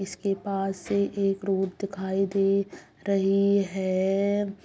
इस के पास एक रोड दिखाई दे रही है।